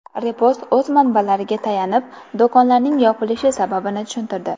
Repost o‘z manbalariga tayanib, do‘konlarning yopilishi sababini tushuntirdi .